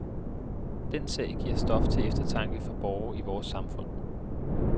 Den sag giver stof til eftertanke for borgere i vores samfund.